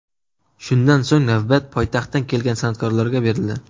Shundan so‘ng navbat poytaxtdan kelgan san’atkorlarga berildi.